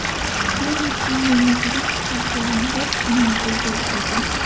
Peru Chilini yirik hisobda yengib, finalga yo‘l oldi .